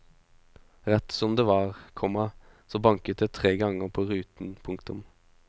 Rett som det var, komma så banket det tre ganger på ruten. punktum